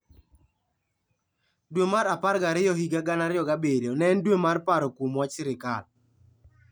Dwe mar apar gariyo higa 2007 ne en dwe mar paro kuom wach sirkal.